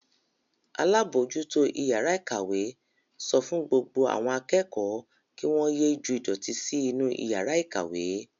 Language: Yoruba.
Alábòójútó ìyàrá-ìkàwé sọ fún gbogbo àwọn akẹ́kọ̀ọ́ kí wọ́n ye ju ìdọ̀tí sí inú ìyàrá-ìkàwé.